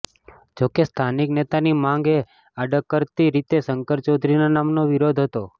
જો કે સ્થાનિક નેતાની માંગ એ આડકરતી રીતે શંકર ચૌધરીના નામનો વિરોધ હતો